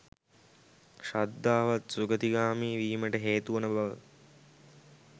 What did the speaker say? ශ්‍රද්ධාවත් සුගතිගාමි වීමට හේතු වන බව